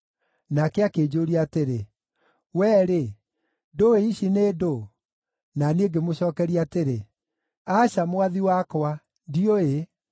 Nake akĩnjũũria atĩrĩ, “Wee-rĩ, ndũũĩ ici nĩ ndũũ?” Na niĩ ngĩmũcookeria atĩrĩ, “Aca, Mwathi wakwa, ndiũĩ.”